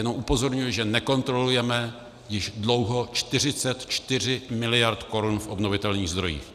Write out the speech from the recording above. Jenom upozorňuji, že nekontrolujeme již dlouho 44 miliard korun v obnovitelných zdrojích.